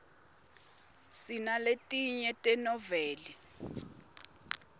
sinaletinye tenoveli